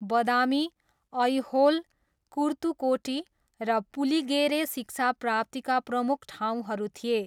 बदामी, ऐहोल, कुर्तुकोटी र पुलिगेरे शिक्षाप्राप्तिका प्रमुख ठाउँहरू थिए।